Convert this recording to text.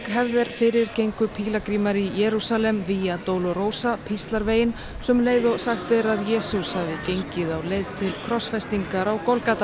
hefð er fyrir gengu pílagrímar í Jerúsalem via Dolorosa píslarveginn sömu leið og sagt er að Jesús hafi gengið á leið til krossfestingar á